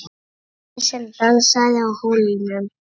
Þessi sem dansaði á hólnum.